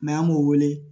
an m'o wele